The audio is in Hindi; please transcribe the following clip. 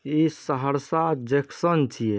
ए सहरसा जक्शन छे।